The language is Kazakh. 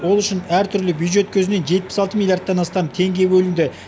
ол үшін әр түрлі бюджет көзінен жетпіс алты миллиардтан астам теңге бөлінді